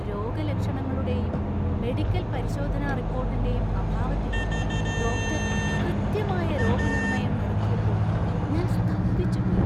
രോഗലക്ഷണങ്ങളുടെയും medical പരിശോധനാ റിപ്പോർട്ടിന്‍റെയും അഭാവത്തിലും ഡോക്ടർ കൃത്യമായ രോഗനിർണയം നടത്തിയപ്പോൾ ഞാൻ സ്തംഭിച്ചുപോയി!